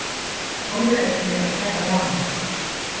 Þorði ekki að kæra rán